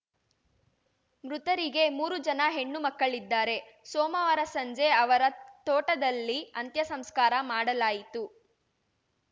ಮೃತರಿಗೆ ಮೂರು ಜನ ಹೆಣ್ಣು ಮಕ್ಕಳಿದ್ದಾರೆ ಸೋಮವಾರ ಸಂಜೆ ಅವರ ತೋಟದಲ್ಲಿ ಅಂತ್ಯ ಸಂಸ್ಕಾರ ಮಾಡಲಾಯಿತು